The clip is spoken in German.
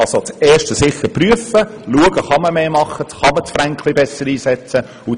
Zum ersten Punkt: Man soll sicher prüfen, ob man mehr machen und den Franken besser einsetzen kann.